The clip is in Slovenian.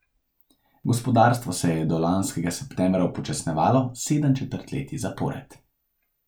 Gospodarstvo se je do lanskega septembra upočasnjevalo sedem četrtletij zapored.